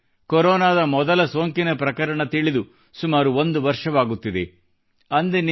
ವಿಶ್ವಕ್ಕೆ ಕೊರೊನಾದ ಮೊದಲ ಸೋಂಕಿನ ಪ್ರಕರಣದ ಬಗ್ಗೆ ತಿಳಿದು ಸುಮಾರು ಒಂದು ವರ್ಷವಾಗುತ್ತಿದೆ